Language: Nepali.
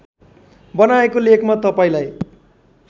बनाएको लेखमा तपाईँलाई